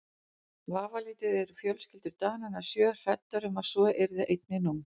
Vafalítið eru fjölskyldur Dananna sjö hræddar um að svo yrði einnig nú.